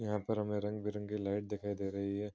यहां पर हमे रंग-बिरंगी लाइट दिखाई दे रही है।